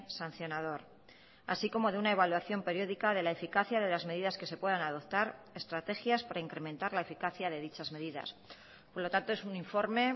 sancionador así como de una evaluación periódica de la eficacia de las medidas que se puedan adoptar estrategias para incrementar la eficacia de dichas medidas por lo tanto es un informe